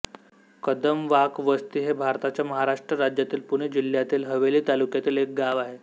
कदमवाकवस्ती हे भारताच्या महाराष्ट्र राज्यातील पुणे जिल्ह्यातील हवेली तालुक्यातील एक गाव आहे